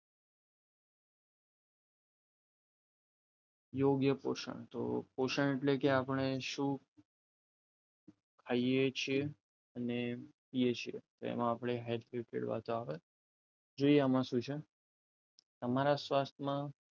યોગ્ય પોષણ તો પોષણ એટલે કે આપણે શું ખાઈએ છીએ અને પીએ છે લઈએ છે તેમાં આપણે હેલ્થની વાતો આવે જોયા એમાં શું છે તમારા સ્વાસ્થ્યમાં